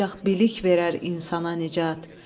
Ancaq bilik verər insana nicat.